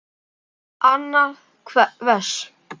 Annað vers.